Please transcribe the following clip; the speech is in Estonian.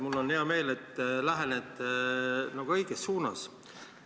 Mul on hea meel, et te lähenete asjale õiges suunas.